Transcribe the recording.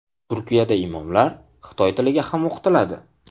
Turkiyada imomlar xitoy tiliga ham o‘qitiladi.